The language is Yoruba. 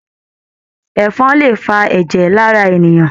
Ẹ̀fọn lè fà ẹjẹ lára ènìyàn.